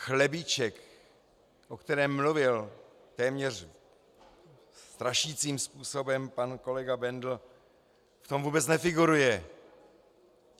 Chlebíček, o kterém mluvil téměř strašicím způsobem pan kolega Bendl, v tom vůbec nefiguruje.